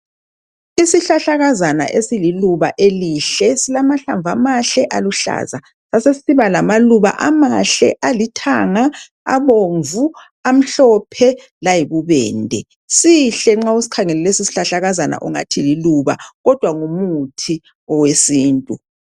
Isihlahlakazana esililuba elihle, esilamahlamvu amahle aluhlaza, besesisiba lamaluba amahle alithanga, abomvu, amhlophe layibubende. Sihle nxa usikhangele lesi sihlahlakazana ungathi liluba kodwa ngumuthi owesintu.